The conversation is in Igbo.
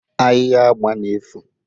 Ahịhịa agba na-efu